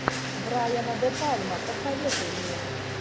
брайана де пальма посоветуй мне